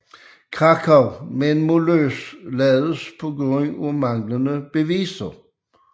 Krakow men må løslades på grund af manglende beviser